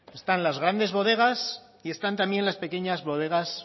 están las grandes bodegas y están también las pequeñas bodegas